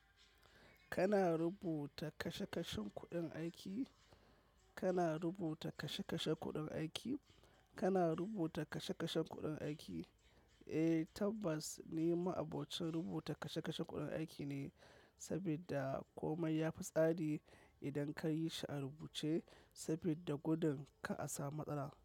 Kana rubuta kashe-kashen kuɗin aiki, kana rubuta kashe kashen kuɗin aiki, kana rubuta kashe kashen kuɗin aiki? Eh, tabbas ni ma'abocin rubuta kashe-kashen kuɗin aiki ne, sabida komai yafi tsari idan ka yi shi a rubuce sabida gudun kar a samu matsala.